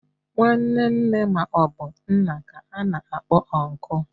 Nwanne nne ma obu nna ka ana akpo unku